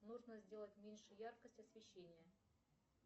нужно сделать меньше яркость освещения